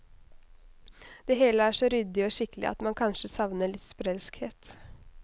Det hele er så ryddig og skikkelig at man kanskje savner litt sprelskhet.